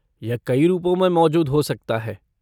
यह कई रूपों में मौजूद हो सकता है।